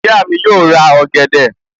Ìyá mi yóò ra ọ̀gẹ̀dẹ̀